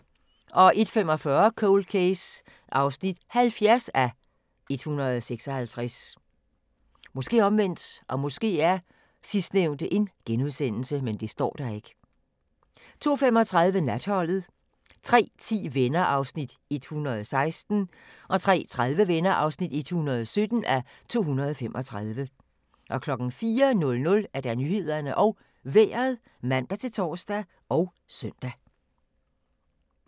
01:45: Cold Case (70:156) 02:35: Natholdet 03:10: Venner (116:235) 03:30: Venner (117:235) 04:00: Nyhederne og Vejret (man-tor og søn)